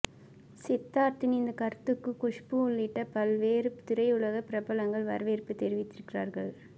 சித்தார்த்தின் இந்தக் கருத்துக்கு குஷ்பு உள்ளிட்ட பல்வேறு திரையுலக பிரபலங்கள் வரவேற்பு தெரிவித்திருக்கிறார்கள்